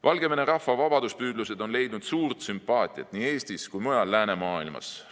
Valgevene rahva vabaduspüüdlused on leidnud suurt sümpaatiat nii Eestis kui ka mujal läänemaailmas.